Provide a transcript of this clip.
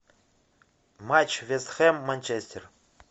матч вест хэм манчестер